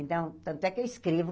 Então, tanto é que eu escrevo.